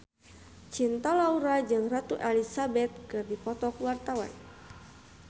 Cinta Laura jeung Ratu Elizabeth keur dipoto ku wartawan